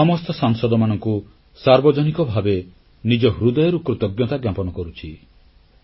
ମୁଁ ଦେଶର ସମସ୍ତ ସାଂସଦମାନଙ୍କୁ ସାର୍ବଜନିକ ଭାବେ ନିଜ ହୃଦୟରୁ କୃତଜ୍ଞତା ଜ୍ଞାପନ କରୁଛି